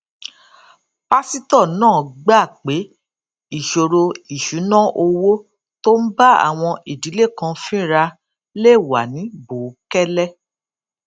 pásítò náà gbà pé ìṣòro ìṣúnná owó tó ń bá àwọn ìdílé kan fínra lè wà ní bòókélé